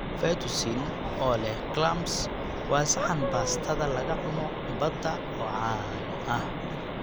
Fettuccine oo leh clams waa saxan baastada laga cuno badda oo caan ah.